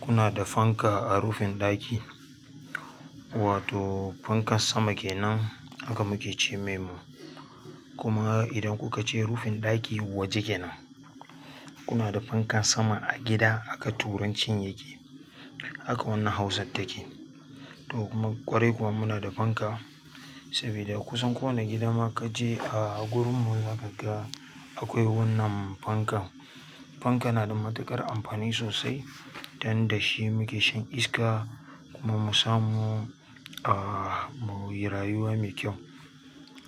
Kuna da fanka a rufin ɗaki, wato fankan sama ke nan haka muke ce mai mu. Kuma idan kuka je rufin ɗaki waje kenan. Kuna da fankan sama a gida haka turancin yake. Haka wannan hausa ta ke. Kwarai kuwa munada fanka sabida kusan kowa i gida a ka je agurinmu zakaga akwai wannan fankan, fanka yanada matuƙar amfani sosai agurinmu dan da shi muke shan iska kuma musamu ah muyi rayuwa mai kyau.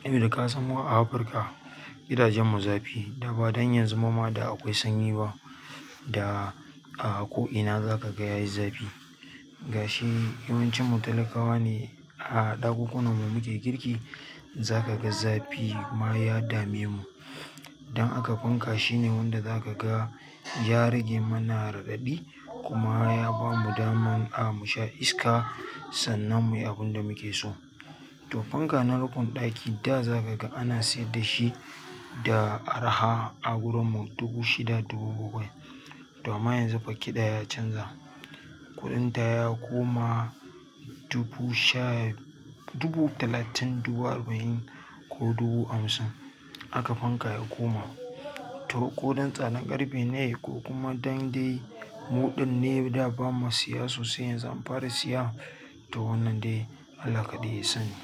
Eh da ka san mu a Afirka gidajen mu zafi da ba dan yanzu kuma ma da akwai sanyi ba. Da a ko ina za ka ga yayi zafi. Ga shi yawancin mu talakawa ne a ɗakunan mu muke girki. Za ka ga zafi ma ya dame mu. Dan aka fanka shine wanda za ka ga ya rage mana raɗaɗi kuma ya bamu daman a mu sha iska. Sannan muyi abinda mukeso to fanka na rukun ɗaki da za ka ga ana sayar da shi da araha a agurun mu dubu shida dubu bakwai to amma yanzu fa ƙida ya canza. Kuɗin ta ya koma dubu sha dubu talatin dubu arba'in ko dubu hamsin haka fanka ya koma. To ko dan tsadan ƙarfe ne ko kuma dan dai muɗin ne da ba mu siya sosai yanzu an fara siya to wannan dai Allah kaɗai ya san shi.